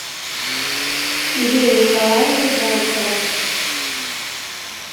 ирина николаевна зайцева